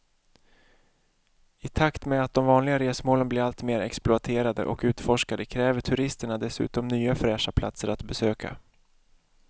I takt med att de vanliga resmålen blir allt mer exploaterade och utforskade kräver turisterna dessutom nya fräscha platser att besöka.